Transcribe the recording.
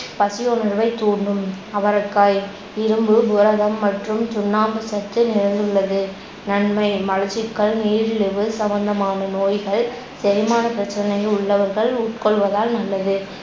பசி உணர்வைத் தூண்டும். அவரைக்காய் இரும்பு, புரதம் மற்றும் சுண்ணாம்பு சத்து நிறைந்துள்ளது. நன்மை, மலச்சிக்கல், நீரிழிவு சம்மந்தமான நோய்கள் செரிமானப்பிரச்சனை உள்ளவர்கள் உட்கொள்வதால் நல்லது